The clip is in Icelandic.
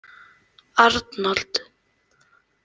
Arnold